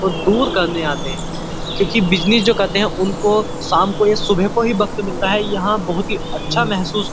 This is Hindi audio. ओ दूर करने आते क्यूंकि बिजनेस जो करते हैं उनको शाम को या सुबह को ही वक्त मिलता है। यहाँ बहुत ही अच्छा महसूस --